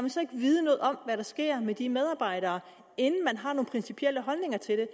vide noget om hvad der sker med de medarbejdere inden man har nogle principielle holdninger til det